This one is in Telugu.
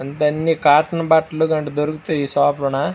ఇంత అన్ని కాటన్ బట్టలులాంటివి దొరుకుతాయి ఈ షాపు లో నా --